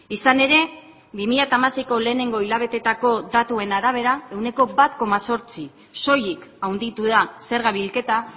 izan ere bi mila hamaseiko lehenengo hilabeteetako datuen arabera ehuneko bat koma zortzi soilik handitu da zerga bilketa